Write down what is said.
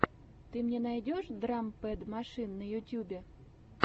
ты мне найдешь драм пэд машин на ютьюбе